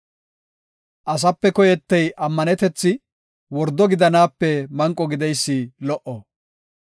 Asape koyetey ammanetethi; wordo gidanaape manqo gideysi lo77o.